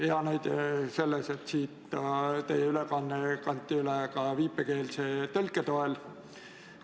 Hea näide oli, et teie ettekanne kanti üle ka viipekeelse tõlke abil.